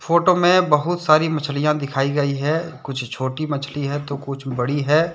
Photo में बहुत सारी मछलियां दिखाई गई हैकुछ छोटी मछली है तो कुछ बड़ी है।